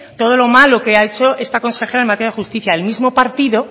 todo lo malo que ha hecho esta consejera en materia de justicia el mismo partido